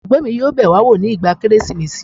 ẹ̀gbọ́n mi yóò bẹ̀ wá wò nígbà Kérésìmesì